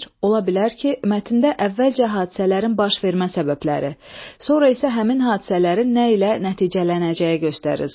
Ola bilər ki, mətndə əvvəlcə hadisələrin baş vermə səbəbləri, sonra isə həmin hadisələrin nə ilə nəticələnəcəyi göstərilsin.